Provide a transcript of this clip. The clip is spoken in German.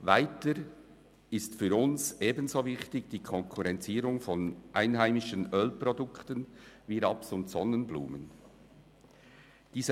Weiter ist für uns die Konkurrenzierung von einheimischen Ölprodukten wie Raps- und Sonnenblumenöl ebenso wichtig.